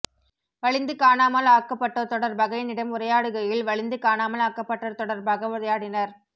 வலிந்து காணாமல் ஆக்கப்பட்டோர் தொடர்பாக என்னிடம் உரையாடுகையில் வலிந்து காணாமல் ஆக்கப்பட்டோர் தொடர்பாக உரையாடினர்